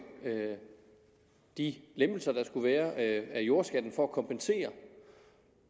de lempelser der skulle være af jordskatten for at kompensere